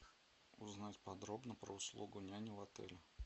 узнать подробно про услугу няни в отеле